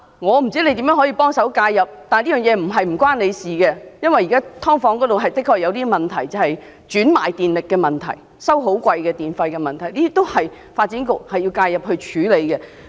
我不知道局長如何介入，但這個問題並非與他無關，因為"劏房"現時的確出現業主轉賣水電，收取昂貴費用的問題，需要發展局介入處理。